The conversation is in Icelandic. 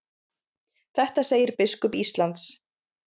Þetta segir biskup Íslands.